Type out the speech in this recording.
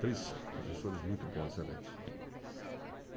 Três professores muito bons, realmente.